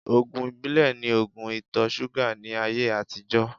Ògùn ìbílẹ̀ ni ògùn ìtọ-súgà ní ayé àtijọ́